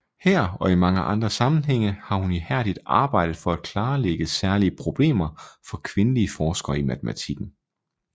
Her og i mange andre sammenhænge har hun ihærdigt arbejdet for at klarlægge særlige problemer for kvindelige forskere i matematikken